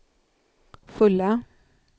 fulla